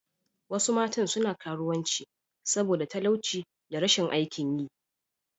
Wasu matan suna karuwanci saboda talauci da rashin aikin yi.